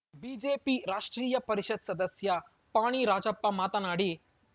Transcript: BJP ರಾಷ್ಟ್ರೀಯ ಪರಿಷತ್‌ ಸದಸ್ಯ ಪಾಣಿ ರಾಜಪ್ಪ ಮಾತನಾಡಿ